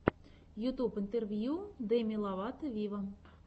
ютьюб интервью деми ловато виво